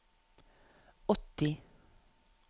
åtti